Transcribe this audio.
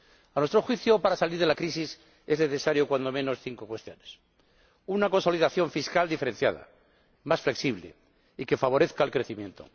A nuestro juicio, para salir de la crisis son necesarias, al menos, cinco cuestiones una consolidación fiscal diferenciada, más flexible y que favorezca el crecimiento